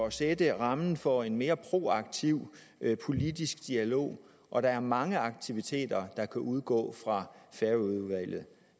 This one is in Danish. at sætte rammen for en mere proaktiv politisk dialog og der er mange aktiviteter der kunne udgå fra færøudvalget